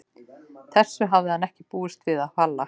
Þessu hafði hann ekki búist við af Halla.